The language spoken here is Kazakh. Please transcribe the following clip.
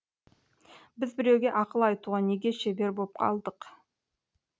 біз біреуге ақыл айтуға неге шебер боп алдық